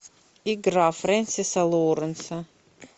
игра фрэнсиса лоуренса